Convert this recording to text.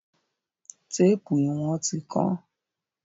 Téèpù ìwọ̀n ti kán.